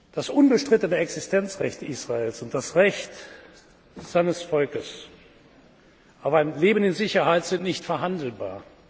Das unbestrittene Existenzrecht Israels und das Recht seines Volkes auf ein Leben in Sicherheit sind nicht verhandelbar.